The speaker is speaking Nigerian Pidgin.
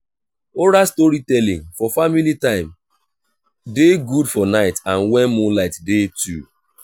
oral storytelling for family time de good for night and when moonlight de too